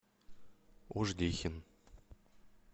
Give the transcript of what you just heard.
ожгихин